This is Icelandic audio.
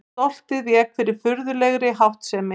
Stoltið vék fyrir furðulegri háttsemi.